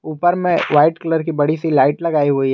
ऊपर में white colour की बड़ी सी लाइट लगाई हुई है।